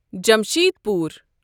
Jamshedpur